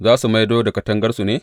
Za su maido da katangarsu ne?